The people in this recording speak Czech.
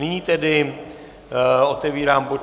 Nyní tedy otevírám bod